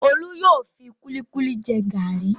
Olú yóò fi kúlíkúlí jẹ gàrí.